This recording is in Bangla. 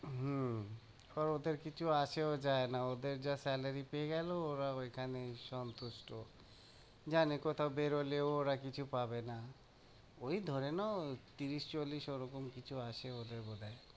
হুম, এবার ওদের কিছু আছে দেয়না, ওদের যা salary পেয়ে গেলো, ওরা ওইখানেই সন্তুষ্ট, জানে কোথাও বেরোলেও ওরা কিছু পাবে না, ওই ধরে নাও তিরিশ-চল্লিশ ওরকম কিছু আসে ওদের বোধ হয়।